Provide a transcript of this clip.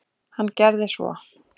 Hann gerði svo.